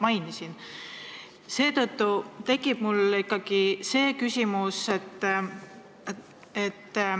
Seetõttu tekib mul ikkagi küsimusi.